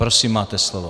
Prosím, máte slovo.